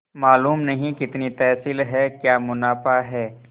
मालूम नहीं कितनी तहसील है क्या मुनाफा है